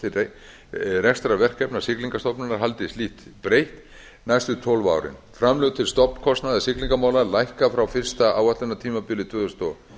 til rekstrarverkefna siglingastofnunar haldist lítt breytt næstu tólf árin framlög til stofnkostnaðar siglingamála lækka frá fyrsta áætlunartímabili tvö þúsund og